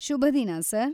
ಶುಭದಿನ, sir!